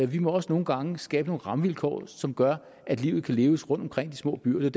vi må også nogle gange skabe nogle rammevilkår som gør at livet kan leves rundtomkring i de små byer det